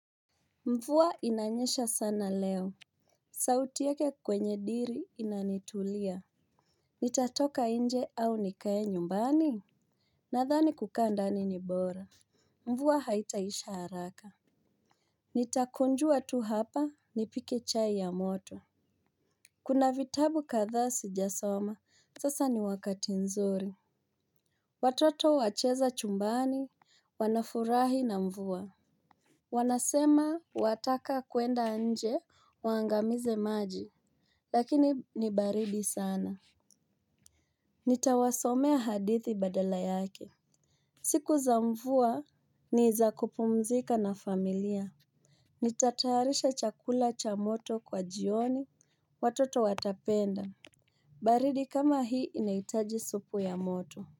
Mvua inanyesha sana leo. Sauti yake kwenye diri inanitulia. Nitatoka inje au nikae nyumbani? Nadhani kukaa ndani ni bora. Mvuwa haitaisha haraka. Nitakunjua tu hapa nipike chai ya moto. Kuna vitabu kadhaa sijasoma sasa ni wakati nzuri. Watoto wacheza chumbani, wanafurahi na mvua. Wanasema wataka kuenda nje waangamize maji. Lakini ni baridi sana. Nitawasomea hadithi badala yake. Siku za mvua ni za kupumzika na familia. Nitatayarisha chakula cha moto kwa jioni watoto watapenda. Baridi kama hii inaitaji supu ya moto.